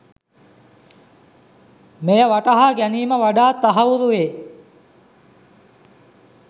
මෙය වටහා ගැනීම වඩාත් තහවුරු වේ